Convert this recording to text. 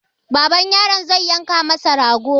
Baban yaron zai yanka masa rago.